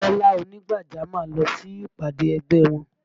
Kọ́lá ònígbàjámọ̀ lọ sí ìpàdé ẹgbẹ́ wọn